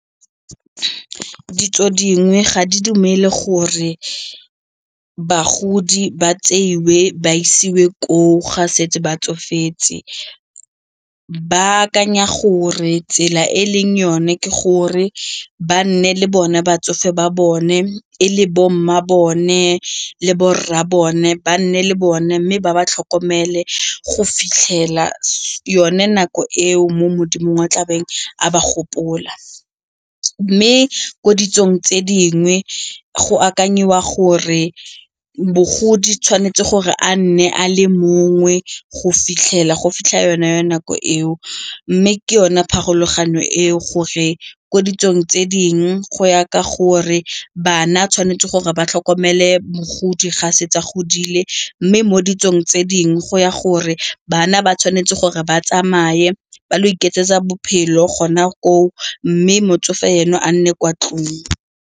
Ditso dingwe ga di dumele gore bagodi ba tseiwe ba isiwe koo ga setse ba tsofetse, ba akanya gore tsela e e leng yone ke gore ba nne le bone batsofe ba bone e le bomma bone le borra bone ba nne le bone mme ba ba tlhokomele go fitlhela yone nako eo mo modimong wa tlabeng a ba gopola. Mme ko ditsong tse dingwe go akanyediwa gore bogodi tshwanetse gore a nne a le mongwe go fitlhela go fitlha yona ya nako eo mme ke yone pharologano eo gore ko ditsong tse dingwe go ya ka gore bana tshwanetse gore ba tlhokomele mogodi ga setse a godile mme mo ditsong tse dingwe go ya gore bana ba tshwanetse gore ba tsamaye ba lo ikeletsa bophelo gona koo mme motsofe eno a nne kwa ntlong.